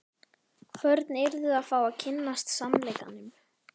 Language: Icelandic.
Börn yrðu að fá að kynnast sannleikanum.